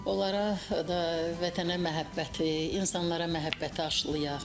Onlara da vətənə məhəbbəti, insanlara məhəbbəti aşlayaq.